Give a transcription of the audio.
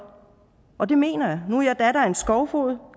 og det mener jeg nu er jeg datter af en skovfoged